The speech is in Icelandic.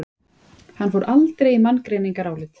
Hann fór aldrei í manngreinarálit.